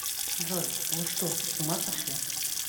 джой вы что с ума сошли